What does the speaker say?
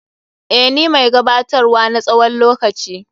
Eh, ni mai gabatar wa na tsawon lokaci.